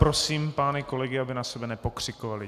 Prosím pány kolegy, aby na sebe nepokřikovali.